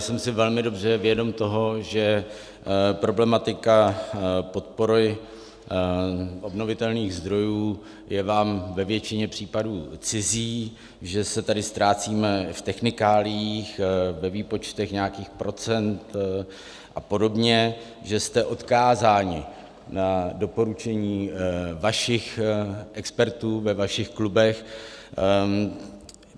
Jsem si velmi dobře vědom toho, že problematika podpory obnovitelných zdrojů je vám ve většině případů cizí, že se tady ztrácíme v technikáliích, ve výpočtech nějakých procent a podobně, že jste odkázáni na doporučení vašich expertů ve vašich klubech.